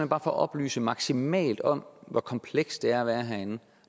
bare for at oplyse maksimalt om hvor kompleks det er at være herinde